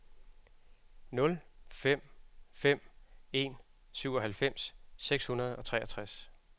nul fem fem en syvoghalvfems seks hundrede og treogtres